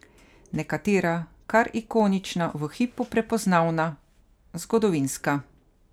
Nekatera kar ikonična, v hipu prepoznavna, zgodovinska.